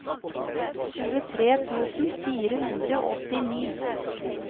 tjuetre tusen fire hundre og åttini